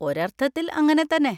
ഒരർത്ഥത്തിൽ അങ്ങനെത്തന്നെ.